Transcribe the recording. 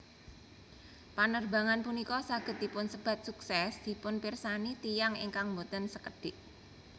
Panerbangan punika saged dipunsebat sukses dipunpirsani tiyang ingkang boten sekedhik